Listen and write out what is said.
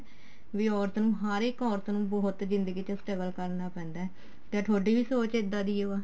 ਵੀ ਔਰਤ ਨੂੰ ਹਰ ਇੱਕ ਔਰਤ ਨੂੰ ਬਹਤੁ ਜਿੰਦਗੀ ਚ struggle ਕਰਨਾ ਪੈਂਦਾ ਤੇ ਤੁਹਾਡੀ ਵੀ ਸੋਚ ਇੱਦਾਂ ਦੀ ਓ ਏ